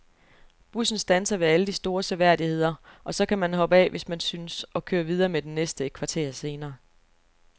Bussen standser ved alle de store seværdigheder, og så kan man hoppe af, hvis man synes, og køre videre med den næste et kvarter senere.